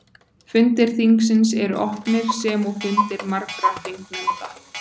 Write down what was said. Fundir þingsins eru opnir sem og fundir margra þingnefnda.